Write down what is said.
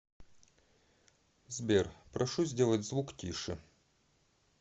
сбер прошу сделать звук тише